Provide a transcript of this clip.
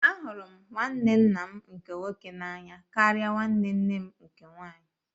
Ahụrụ m nwanne nna m nke nwoke n'anya karịa nwanne nne m nke nwaanyị.